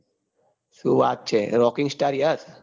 શું વાત છે roking star યસ